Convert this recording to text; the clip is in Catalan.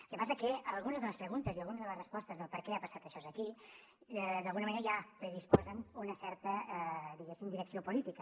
el que passa que algunes de les preguntes i algunes de les respostes del per què ha passat això aquí d’alguna manera ja predisposen una certa diguem ne direcció política